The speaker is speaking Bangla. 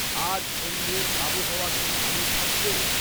আজ সন্ধ্যের আবহাওয়া কি ভালো থাকবে